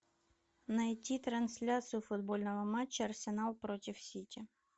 найти трансляцию футбольного матча арсенал против сити